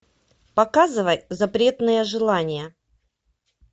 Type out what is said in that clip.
показывай запретное желание